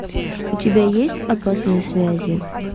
у тебя есть опасные связи